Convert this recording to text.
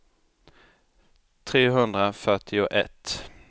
trehundrafyrtioett